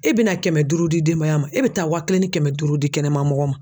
E bɛna kɛmɛ duuru di denba ma e bɛ taa waa kelen ni kɛmɛ duuru di kɛnɛmana mɔgɔ ma.